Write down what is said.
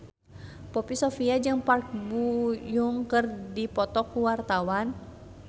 Poppy Sovia jeung Park Bo Yung keur dipoto ku wartawan